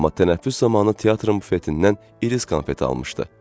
Amma tənəffüs zamanı teatrın bufetindən iris konfeti almışdı.